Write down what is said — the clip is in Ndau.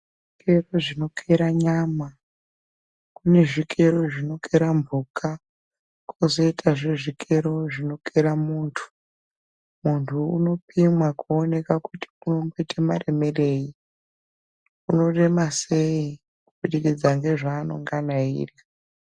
Kune zvikero zvino kera nyama .Kune zvikero zvinokera mphuka Kozoitazve zvikero zvinokera muntu .Muntu anopimwa kuonekwa kuti nomboita maremerei ,unorema sei, kubudikidza nezvanenge eirya.